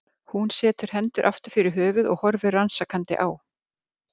Hún setur hendur aftur fyrir höfuð og horfir rannsakandi á